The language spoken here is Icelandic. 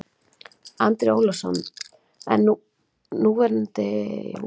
Andri Ólafsson: En núverandi efnahagsástand, setti það ekkert strik í reikninginn?